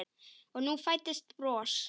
Og nú fæddist bros.